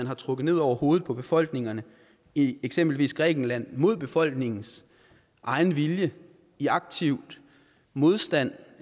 har trukket ned over hovedet på befolkningerne i eksempelvis grækenland mod befolkningens egen vilje i aktiv modstand